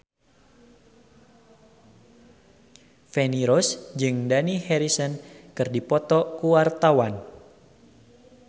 Feni Rose jeung Dani Harrison keur dipoto ku wartawan